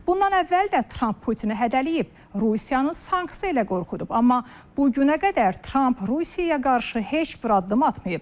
Bundan əvvəl də Tramp Putini hədələyib, Rusiyanı sanksiya ilə qorxudub, amma bu günə qədər Tramp Rusiyaya qarşı heç bir addım atmayıb.